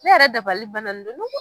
Ne yɛrɛ dabali banna n don